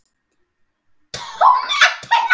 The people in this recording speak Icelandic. TÓMA TUNNU!